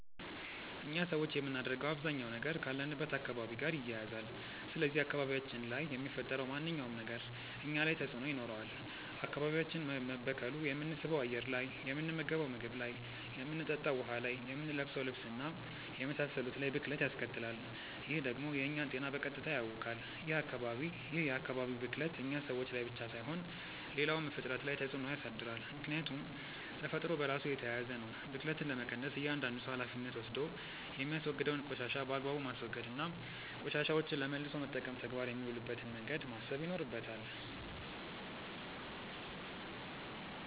እኛ ሰዎች የምናደርገው አባዛኛው ነገር ካለንበት አካባቢ ጋር ይያያዛል። ስለዚህ አካባቢያችን ላይ የሚፈጠረው ማንኛውም ነገር እኛ ላይ ተጽእኖ ይኖረዋል። አካባቢያችን መበከሉ የምንስበው አየር ላይ፣ የምንመገንው ምግብ ላይ፣ የምንጠጣው ውሀ ላይ፣ የምንለብሰው ልብስ እና የመሳሰሉት ላይ ብክለት ያስከትላል። ይህ ደግሞ የእኛን ጤና በቀጥታ ያውካል። ይህ የአካባቢ ብክለት እኛ ሰዎች ላይ ብቻ ሳይሆን ሌላውም ፍጥረት ላይ ተፅእኖ ያሳድራል። ምክያቱም ተፈጥሮ በራሱ የተያያዘ ነው። ብክለትን ለመቀነስ እያዳንዱ ሰው ሀላፊነት ወስዶ የሚያወግደውን ቆሻሻ በአግባቡ ማስወገድ እና ቆሻሻዎችን ለመልሶ መጠቀም ተግባር የሚውልበትን መንገድ ማሰብ ይኖርበታል።